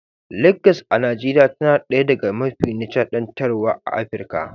Legas a Najeriya tana ɗaya daga mafi nishadantarwa a Afirka.